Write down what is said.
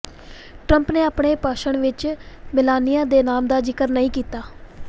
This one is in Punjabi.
ਟਰੰਪ ਨੇ ਆਪਣੇ ਭਾਸ਼ਣ ਵਿੱਚ ਮੇਲਾਨੀਆ ਦੇ ਨਾਮ ਦਾ ਜ਼ਿਕਰ ਨਹੀਂ ਕੀਤਾ